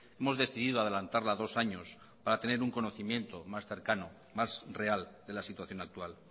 hemos decidido adelantarla dos años para tener un conocimiento más cercano más real de la situación actual